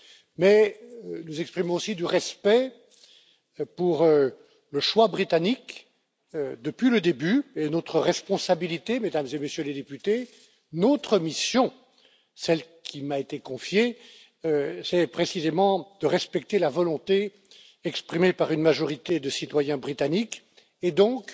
Mais j'exprime aussi du respect pour le choix britannique, depuis le début, et notre responsabilité, Mesdames et Messieurs les députés, notre mission, celle qui m'a été confiée, c'est précisément de respecter la volonté exprimée par une majorité de citoyens britanniques, et donc